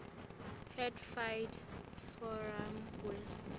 hatfield forum west